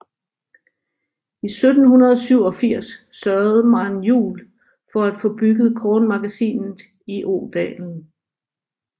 I 1787 sørgede Maren Juel for at få bygget kornmagasinet i Odalen